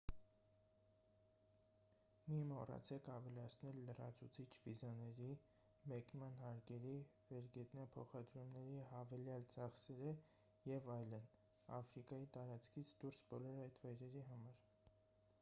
մի մոռացեք ավելացնել լրացուցիչ վիզաների մեկնման հարկերի վերգետնյա փոխադրումների հավելյալ ծախսերը և այլն աֆրիկայի տարածքից դուրս բոլոր այդ վայրերի համար